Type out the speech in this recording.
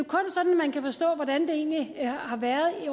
kun sådan man kan forstå hvordan det egentlig har været